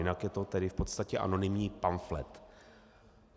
Jinak je to tedy v podstatě anonymní pamflet.